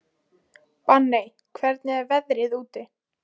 Benney, hvernig er veðrið úti?